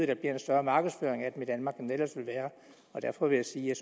der bliver en større markedsføring af dem i danmark end der ellers ville være og derfor vil jeg sige at